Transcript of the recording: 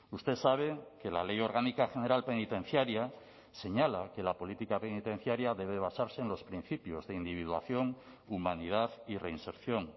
usted sabe que la ley orgánica general penitenciaria señala que la política penitenciaria debe basarse en los principios de individuación humanidad y reinserción